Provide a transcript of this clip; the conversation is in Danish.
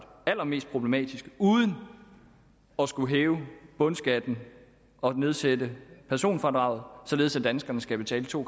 allermest problematiske uden at skulle hæve bundskatten og nedsætte personfradraget således at danskerne skal betale to